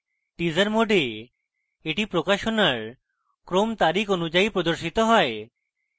teaser mode এ এটি প্রকাশনার ক্রম তারিখ অনুযায়ী প্রদর্শিত হয়